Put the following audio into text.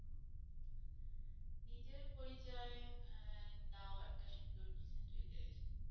নিজের পরিচয় আহ দাও একটা সুন্দর decent ভাবে।